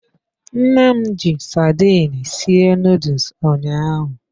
Nne m ji sardine sie nuduls ụnyaahụ.